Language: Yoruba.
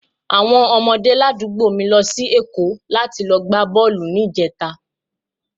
Àwọn ọmọdé ládùúgbò mi lọ sí Èkó láti lọ gbá bọ́ọ̀lù ní ìjẹta